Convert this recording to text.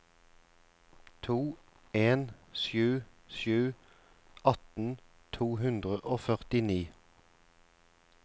to en sju sju atten to hundre og førtini